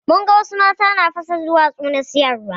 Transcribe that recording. Mun ga wadansu mata na fasa duwatsu na siyarwa.